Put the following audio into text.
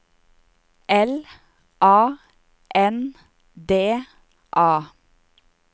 L A N D A